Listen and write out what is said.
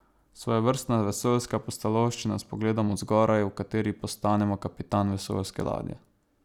Svojevrstna vesoljska pustolovščina s pogledom od zgoraj, v kateri postanemo kapitan vesoljske ladje.